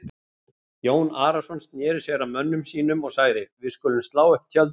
Jón Arason sneri sér að mönnum sínum og sagði:-Við skulum slá upp tjöldum.